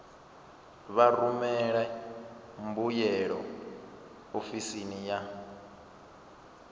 vha rumele mbuyelo ofisini ya